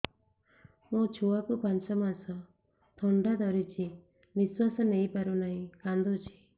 ମୋ ଛୁଆକୁ ପାଞ୍ଚ ମାସ ଥଣ୍ଡା ଧରିଛି ନିଶ୍ୱାସ ନେଇ ପାରୁ ନାହିଁ କାଂଦୁଛି